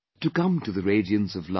to come to the radiance of light